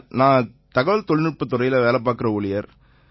நான் தகவல்தொழில்நுட்பத் துறையில பணியாற்றுற ஒரு ஊழியர்